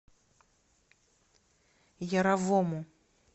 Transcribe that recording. яровому